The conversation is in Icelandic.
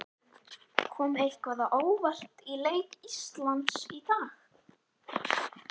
Kom eitthvað á óvart í leik Íslands í dag?